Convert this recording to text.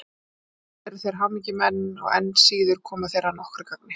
En aldrei eru þeir hamingjumenn og enn síður koma þeir að nokkru gagni.